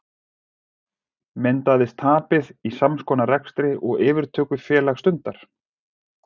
Myndaðist tapið í sams konar rekstri og yfirtökufélag stundar?